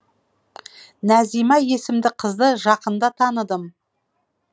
назима есімді қызды жақында таныдым